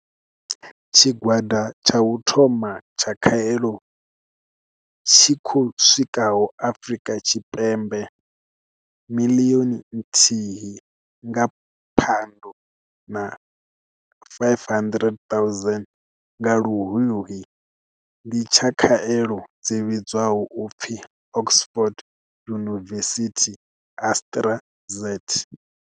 Tshigwada tsha u thoma tsha khaelo tshi khou swikaho Afrika Tshipembe miḽioni nthihi nga phando na 500 000 nga Luhuhi ndi tsha khaelo dzi vhidzwaho u pfi Oxford University-AstraZ.